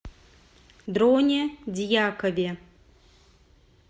дроне дьякове